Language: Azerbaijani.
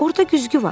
Orda güzgü var.